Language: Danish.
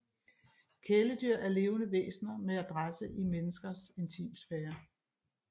Kæledyr er levende væsener med adresse i menneskers intimsfære